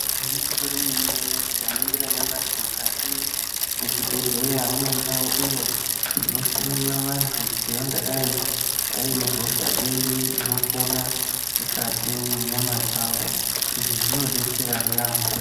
Igwinyiso remene mene tikaningira nyamashi mukati mezvibhedhlera mune ndao inohloyirwa antu kuti angadai aine hosha iri inopona mukati mwenyama dzavo izvi zvinobetsera yaamho .